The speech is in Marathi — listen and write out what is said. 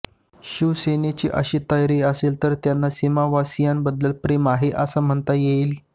शिवसेनेची अशी तयारी असेल तरच त्यांना सीमावासीयांबद्दल प्रेम आहे असे म्हणता येईल